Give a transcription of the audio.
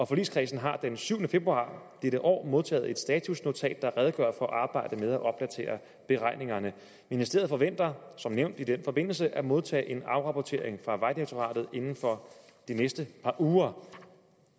forligskredsen har den syvende februar dette år modtaget et statusnotat der redegør for arbejdet med at opdatere beregningerne ministeriet forventer som nævnt i den forbindelse at modtage en afrapportering fra vejdirektoratet inden for de næste par uger